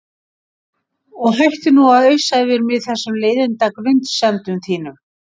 Og hættu nú að ausa yfir mig þessum leiðinda grunsemdum þínum.